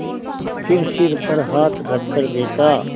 फिर सिर पर हाथ रखकर देखा